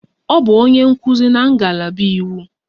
Ọ bụ onye nkuzi na ngalaba iwu.